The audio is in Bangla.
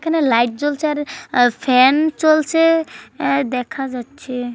লাইট জ্বলছে আর ফ্যান চলছে দেখা যাচ্ছে ।